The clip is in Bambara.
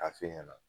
A f'e ɲɛna